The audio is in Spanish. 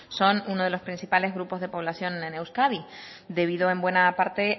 son unos de los principales grupos de población en euskadi debido en buena parte